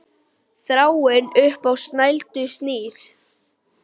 Þráðinn upp á snældu snýr.